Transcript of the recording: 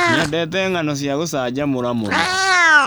Nyendete ng'ano cia gũcanjamũra mũno.